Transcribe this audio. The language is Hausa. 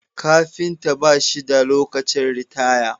Kafinta bashi da lokacin ritaya